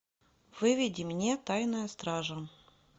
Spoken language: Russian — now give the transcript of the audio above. выведи мне тайная стража